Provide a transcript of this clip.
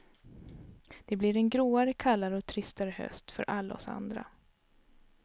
Och det blir en gråare, kallare och tristare höst för alla oss andra.